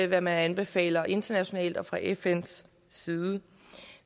hvad man anbefaler internationalt og fra fns side